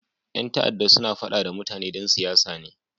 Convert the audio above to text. Yan ta'adda suna fada da mutane don siyasa ne.